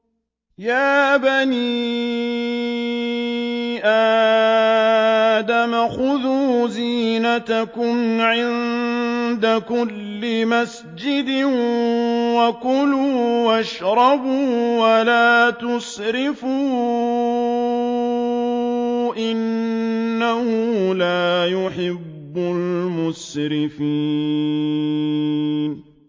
۞ يَا بَنِي آدَمَ خُذُوا زِينَتَكُمْ عِندَ كُلِّ مَسْجِدٍ وَكُلُوا وَاشْرَبُوا وَلَا تُسْرِفُوا ۚ إِنَّهُ لَا يُحِبُّ الْمُسْرِفِينَ